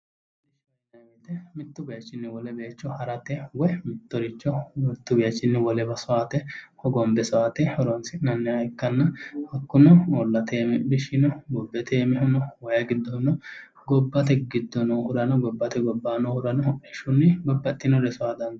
Mittu bayeechinni wole bayiicho harate woye mittoricho mittu bayiichinni wolewa soyaate hogombe soyaate horonsi'nanniha ikkanna hakkuno uullate iimi hodhishshi no bubbete iimihu no waayi giddohu no gobbate giddo noohurano gobbate gobbaa noohurano hodhishshunni babbaxxeyoore soya dandiinanni